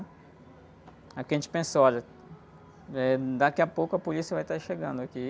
Aí o que a gente pensou, olha, eh, daqui a pouco a polícia vai estar chegando aqui.